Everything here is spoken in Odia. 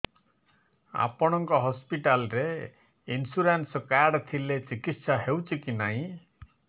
ଆପଣଙ୍କ ହସ୍ପିଟାଲ ରେ ଇନ୍ସୁରାନ୍ସ କାର୍ଡ ଥିଲେ ଚିକିତ୍ସା ହେଉଛି କି ନାଇଁ